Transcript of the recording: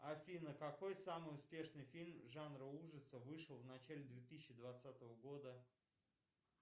афина какой самый успешный фильм жанра ужасы вышел в начале две тысячи двадцатого года